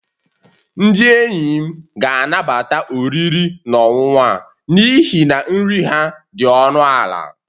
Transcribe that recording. Ndị enyi m ga-anabata oriri na ọṅụṅụ a n'ihi na nri ha dị ọnụ ala